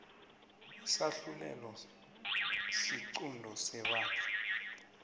isahlulelo isiqunto sebandla